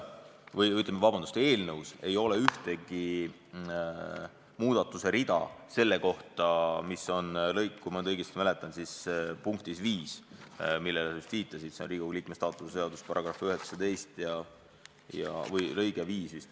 Eelnõus ei ole ühtegi muudatust selle kohta, millele sa just viitasid, Riigikogu liikme staatuse seadus § 19 lõige 5.